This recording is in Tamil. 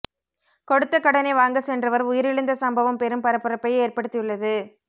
கொடுத்த கடனை வாங்க சென்றவர் உயிரிழந்த சம்பவம் பெரும் பரபரப்பை ஏற்படுத்தியுள்ளது